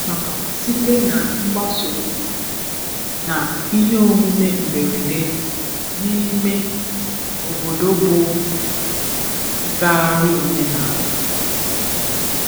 Amụtara m site na mgbasa ozi um na ihe omume mberede um n'ime um obodo bụ ngagharị omenala.